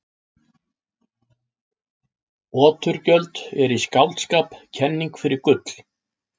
Oturgjöld eru í skáldskap kenning fyrir gull.